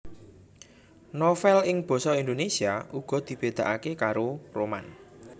Novèl ing basa Indonèsia uga dibedakake karo roman